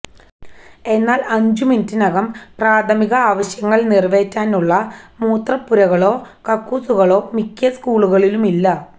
എന്നാല് അഞ്ച് മിനുട്ടിനകം പ്രാഥമികവാശ്യങ്ങള് നിറവേറ്റാനുള്ള മൂത്രപ്പുരകളോ കക്കൂസുകളോ മിക്ക സ്കൂളുകളുമില്ല